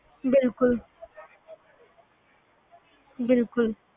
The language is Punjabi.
ਬਿਲਕੁਲ ਬਿਲਕੁਲ